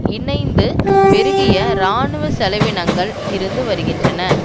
இணைந்து பெருகிய இராணுவ செலவினங்கள் இருந்து வருகின்றன